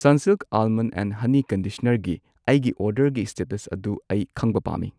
Sunsilk almond and honey ꯀꯟꯗꯤꯁꯅꯔꯒꯤ ꯑꯩꯒꯤ ꯑꯣꯔꯗꯔꯒꯤ ꯁ꯭ꯇꯦꯇꯁ ꯑꯗꯨ ꯑꯩ ꯈꯪꯕ ꯄꯥꯝꯃꯤ